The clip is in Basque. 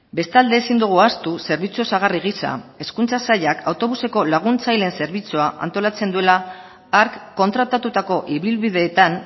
bestalde ezin dugu ahaztu zerbitzu osagarri gisa hezkuntza sailak autobuseko laguntzaileen zerbitzua antolatzen duela hark kontratatutako ibilbideetan